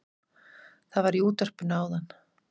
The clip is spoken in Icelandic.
Það var í útvarpinu áðan